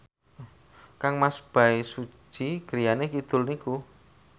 kangmas Bae Su Ji griyane kidul niku